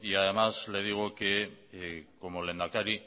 y además le digo que como lehendakari